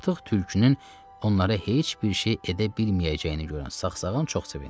Artıq tülkünün onlara heç bir şey edə bilməyəcəyini görən sağsağan çox sevindi.